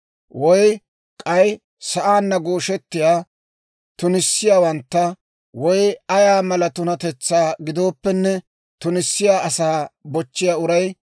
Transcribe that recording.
Woy k'ay sa'aanna gooshettiyaa, tunissiyaawantta, woy ay mala tunatetsaa gidooppenne tunissiyaa asaa bochchiyaa uray,